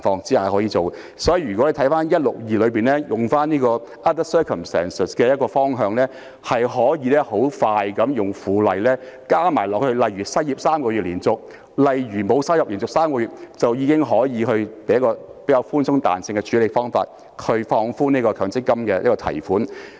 所以，如果回顧第162條中 other circumstances 的方向，迅速地利用附屬法例，加上"連續失業3個月或連續3個月沒有收入"，便可以較寬鬆和具彈性的處理方法放寬強積金的提款限制。